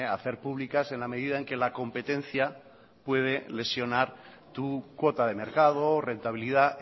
hacer públicas en la medida en que la competencia puede lesionar tu cuota de mercado rentabilidad